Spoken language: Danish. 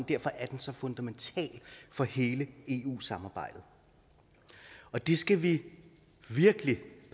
derfor er den så fundamental for hele eu samarbejdet og det skal vi virkelig